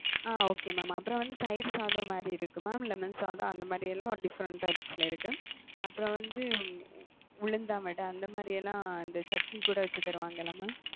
அ okay mam அப்புறம் வந்து தயிர் சாதம் மாரி இருக்கு mam லெமன் சாதம் அந்த மாரிலாம் ஒரு different types ல இருக்கு. அப்புறம் வந்து உளுந்தான் வட அந்த மாரிலாம் இந்த சட்னி கூட வச்சு தருவாங்கள mam.